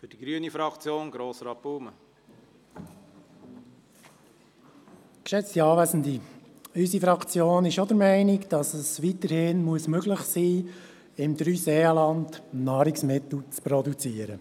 Unsere Fraktion ist auch der Meinung, dass es weiterhin möglich sein muss, im Dreiseenland Nahrungsmittel zu produzieren.